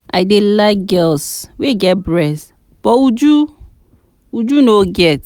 I dey like girls wey get breast but Uju no get